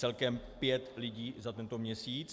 Celkem pět lidí za tento měsíc.